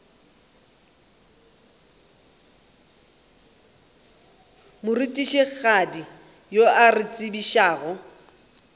morutišigadi yo a re tsebišago